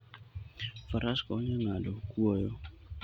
Faras konyo e ng'ado kwoyo.